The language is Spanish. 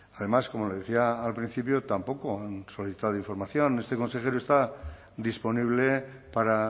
además como le decía al principio tampoco han solicitado información este consejero está disponible para